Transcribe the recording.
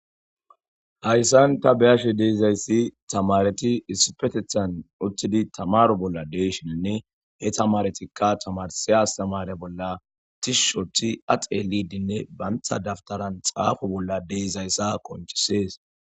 Hayssan ta beashe deiizayssi tamareti issupetethan uttidi tamaro bolla deeshininne he tamaretikka tamarse astamare bolla tishushothi axelidinne bantha daftaran xaafo bolla deezayssa qonchisees.